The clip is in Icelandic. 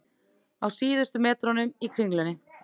Á síðustu metrunum í Kringlunni